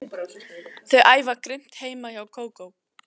Þau æfa grimmt heima hjá Kókó.